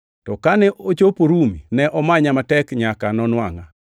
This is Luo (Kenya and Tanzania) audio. To kane ochopo Rumi ne omanya matek nyaka nonwangʼa.